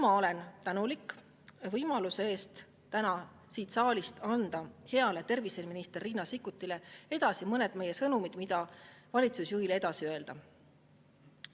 Ma olen tänulik võimaluse eest anda täna siin saalis heale terviseministrile Riina Sikkutile edasi mõned meie sõnumid, mida valitsusjuhile edasi öelda.